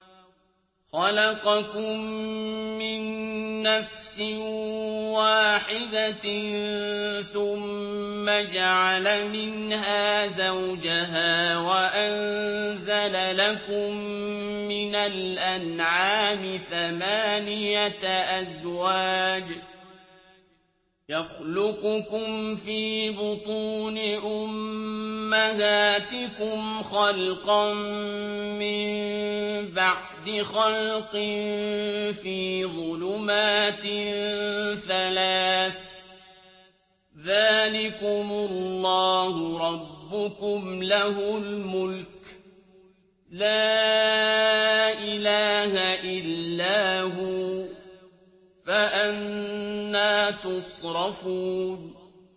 خَلَقَكُم مِّن نَّفْسٍ وَاحِدَةٍ ثُمَّ جَعَلَ مِنْهَا زَوْجَهَا وَأَنزَلَ لَكُم مِّنَ الْأَنْعَامِ ثَمَانِيَةَ أَزْوَاجٍ ۚ يَخْلُقُكُمْ فِي بُطُونِ أُمَّهَاتِكُمْ خَلْقًا مِّن بَعْدِ خَلْقٍ فِي ظُلُمَاتٍ ثَلَاثٍ ۚ ذَٰلِكُمُ اللَّهُ رَبُّكُمْ لَهُ الْمُلْكُ ۖ لَا إِلَٰهَ إِلَّا هُوَ ۖ فَأَنَّىٰ تُصْرَفُونَ